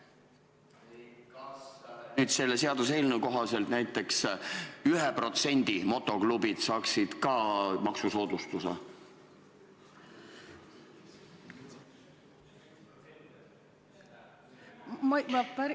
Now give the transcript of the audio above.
Kas nüüd selle seaduseelnõu kohaselt näiteks 1% motoklubid saaksid ka maksusoodustuse?